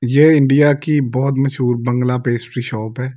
ये इंडिया की बहुत मशहूर बंगला पेस्ट्री शॉप है।